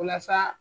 Walasa